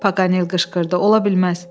Paqanel qışqırdı, ola bilməz.